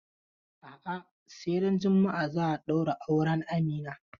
A'a, sai ran juma'a za a ɗaura auren Amina.